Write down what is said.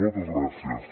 moltes gràcies